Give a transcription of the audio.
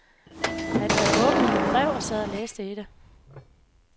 Han havde åbnet mit brev og sad og læste i det.